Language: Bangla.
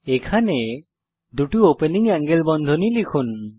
এখানে দুটি ওপেনিং এঙ্গেল বন্ধনী লিখুন